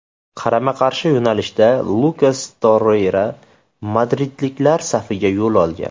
Qarama qarshi yo‘nalishda Lukas Torreyra madridliklar safiga yo‘l olgan.